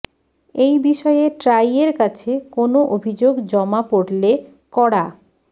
এই বিষয়ে ট্রাই এর কাছে কোন অভিযোগ জমা পড়লে কড়া